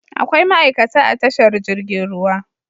Akwai ma'ikata a tashar jirgin ruwa